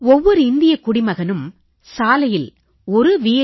ஒவ்வொரு இந்தியக் குடிமகனும் சாலையில் வி